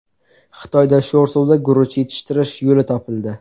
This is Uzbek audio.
Xitoyda sho‘r suvda guruch yetishtirish yo‘li topildi.